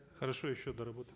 хорошо еще доработаем